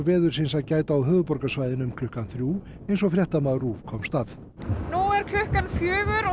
veðursins að gæta á höfuðborgarsvæðinu um klukkan þrjú eins og fréttamaður RÚV komst að nú er klukkan fjögur